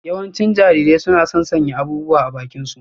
Yawancin Jarirai suna son sanya abubuwa a bakinsu.